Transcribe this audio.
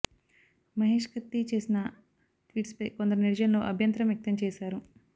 మహేష్ కత్తి చేసిన ట్వీట్పై కొందరు నెటిజన్లు అభ్యంతరం వ్యక్తం చేశారు